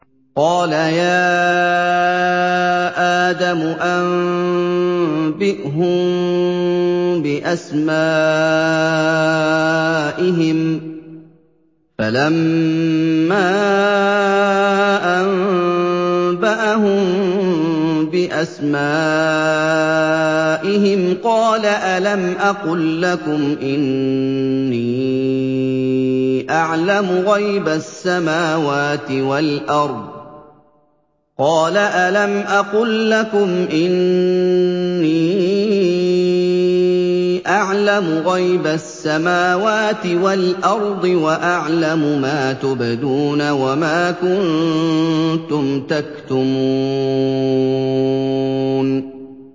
قَالَ يَا آدَمُ أَنبِئْهُم بِأَسْمَائِهِمْ ۖ فَلَمَّا أَنبَأَهُم بِأَسْمَائِهِمْ قَالَ أَلَمْ أَقُل لَّكُمْ إِنِّي أَعْلَمُ غَيْبَ السَّمَاوَاتِ وَالْأَرْضِ وَأَعْلَمُ مَا تُبْدُونَ وَمَا كُنتُمْ تَكْتُمُونَ